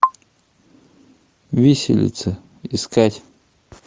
виселица искать